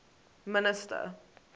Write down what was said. minister